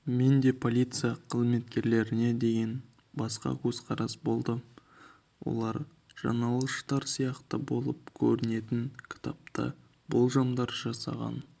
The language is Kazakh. менде де полиция қызметкерлеріне деген басқа көзқарас болды олар жаналғыштар сияқты болып көрінетін кітапта болжамдар жасаған